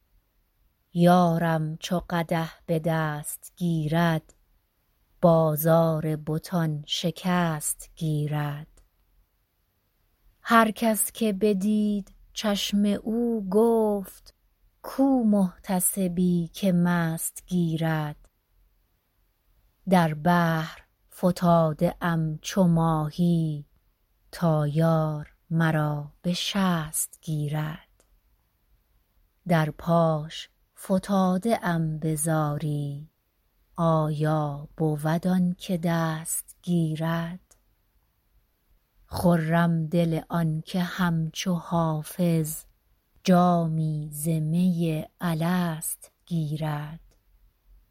یارم چو قدح به دست گیرد بازار بتان شکست گیرد هر کس که بدید چشم او گفت کو محتسبی که مست گیرد در بحر فتاده ام چو ماهی تا یار مرا به شست گیرد در پاش فتاده ام به زاری آیا بود آن که دست گیرد خرم دل آن که همچو حافظ جامی ز می الست گیرد